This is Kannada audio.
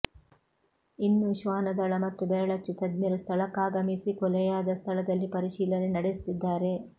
ಇನ್ನೂ ಶ್ವಾನದಳ ಮತ್ತು ಬೆರಳಚ್ಚು ತಜ್ಞರು ಸ್ಥಳಕ್ಕಾಗಮಿಸಿ ಕೊಲೆಯಾದ ಸ್ಥಳದಲ್ಲಿ ಪರಿಶೀಲನೆ ನಡೆಸುತ್ತಿದ್ದಾರೆ